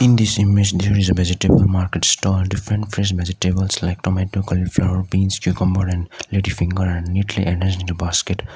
in this image there is a vegetable market store different fresh vegetables like tomato cauliflower beans cucumber and ladyfinger and neatly arranged basket.